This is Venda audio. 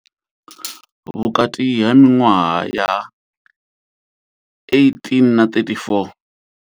Vhukati ha miṅwaha ya 18 na 34.